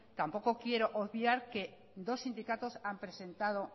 tampoco quiero obviar que dos sindicatos han presentado